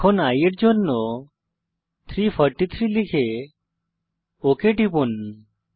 এখন i এর জন্য 343 লিখে ওক টিপুন